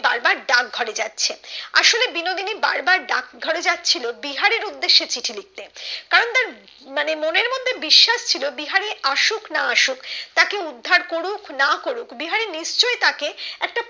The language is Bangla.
বারবার ডাক ঘরে যাচ্ছে আসলে বিনোদিনী বারবার ডাক ঘরে যাচ্ছিলো বিহারীর উদ্দেশে চিঠি লিখতে কারণ তার মানে মনের মধ্যে বিশ্বাস ছিল বিহারি আসুক বা না আসুক তাকে উদ্ধার করুক বা না করুক বিহারি নিশ্চই তাকে একটা